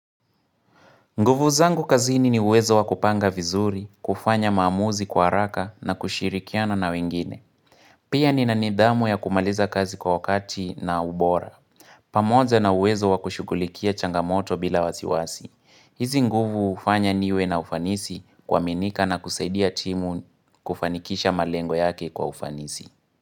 Nguvu zangu kazini ni uwezo wa kupanga vizuri, kufanya maamuzi kwa haraka na kushirikiana na wengine. Pia ni na nidhamu ya kumaliza kazi kwa wakati na ubora. Pamoja na uwezo wa kushughulikia changamoto bila wasiwasi. Hizi nguvu hufanya niwe na ufanisi kuaminika na kusaidia timu kufanikisha malengo yake kwa ufanisi.